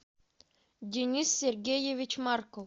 денис сергеевич марков